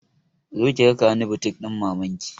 Zo ki raka ni butik ɗin maman ki!